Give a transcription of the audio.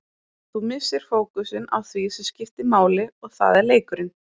Þú missir fókusinn á því sem skiptir máli og það er leikurinn.